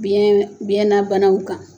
Biyɛ biyɛnabanaw kan.